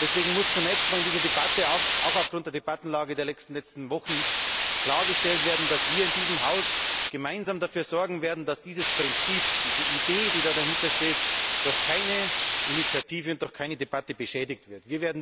Deswegen muss zunächst einmal in dieser Debatte auch aufgrund der Debattenlage der letzten Wochen klargestellt werden, dass wir in diesem Haus gemeinsam dafür sorgen werden, dass dieses Prinzip, diese Idee, die dahintersteht, durch keine Initiative und durch keine Debatte beschädigt wird.